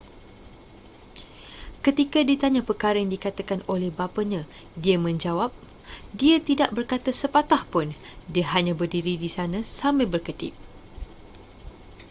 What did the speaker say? ketika ditanya perkara yang dikatakan oleh bapanya dia menjawab dia tidak berkata sepatah pun dia hanya berdiri di sana sambil berkedip